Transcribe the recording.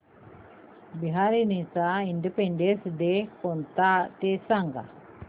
बहारीनचा independence day कोणता ते सांगा